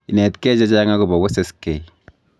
Inetkei chechang akobo weseskei